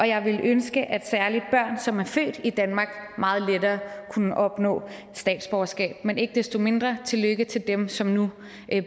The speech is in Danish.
jeg ville ønske at særlig børn som er født i danmark meget lettere kunne opnå statsborgerskab men ikke desto mindre tillykke til dem som nu